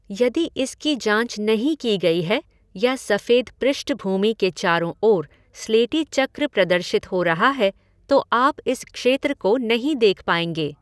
यदि इसकी जाँच नहीं की गई है या सफ़ेद पृष्ठभूमि के चारों ओर स्लेटी चक्र प्रदर्शित हो रहा है, तो आप इस क्षेत्र को नहीं देख पाएंगे।